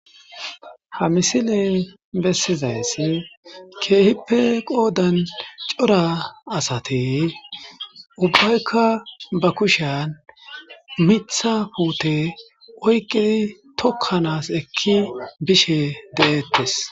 Ha misile bessizayss keehippe qoodan cora asati ubbaykka ba kushen miiththa puute oyqqidi tokkanas ekki bishe deettes.